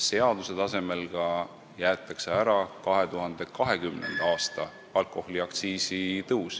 Seaduse tasemel jäetakse ära ka 2020. aasta alkoholiaktsiisi tõus.